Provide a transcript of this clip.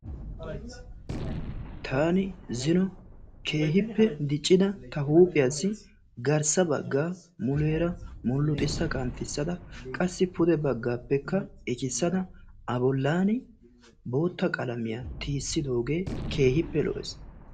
Taani zino keehippe diiccida ta huuphphiyaasi garssa baggaa muleera muluxxissa qanxxissa simmada qassi pude baggappekka qassi ekissada a bollaani bootta qalamiyaa tiyissidoogee keehippe lo"ees.